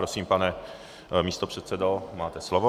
Prosím, pane místopředsedo, máte slovo.